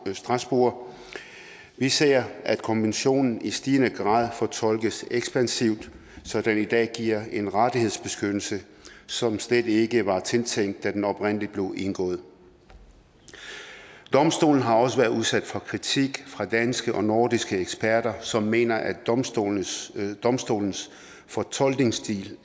af strasbourg vi ser at konventionen i stigende grad fortolkes ekspansivt så den i dag giver en rettighedsbeskyttelse som slet ikke var tiltænkt da den oprindelig blev indgået domstolen har også været udsat for kritik fra danske og nordiske eksperter som mener at domstolens domstolens fortolkningsstil